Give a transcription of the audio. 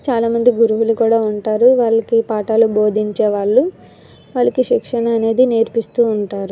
చాలా మంది గురువులు కూడా ఉంటారు వాళ్ళకి పాఠాలు బోధించే వాళ్ళు వాళ్ళకి శిక్షణ అనేది నేర్పిస్తూ ఉంటారు.